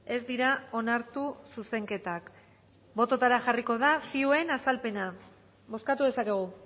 ez dira onartu zuzenketak botoetara jarriko da zioen azalpena bozkatu dezakegu